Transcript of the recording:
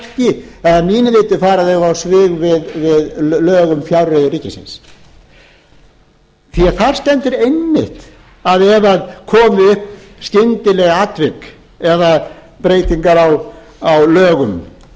að mínu viti fara þau á svig við lög um fjárreiður ríkisins því að þar stendur einmitt að ef það komi upp skyndileg atvik eða breytingar á lögum